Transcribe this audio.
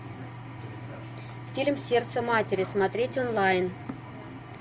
фильм сердце матери смотреть онлайн